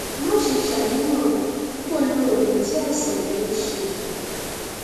má ṣe ṣàníyàn o kò lo oògùn tí àìsàn rẹ ń ṣe é